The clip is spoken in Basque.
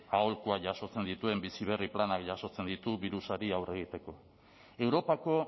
aholkuak jasotzen dituen bizi berri planak jasotzen ditu birusari aurre egiteko europako